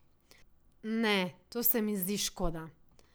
Ne, to se mi zdi škoda.